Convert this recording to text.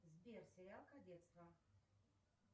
сбер сериал кадетство